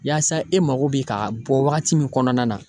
Yaasa e mako bɛ ka bɔ wagati min kɔnɔna na.